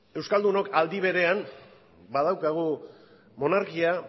euskaldunok aldi berean badaukagu monarkia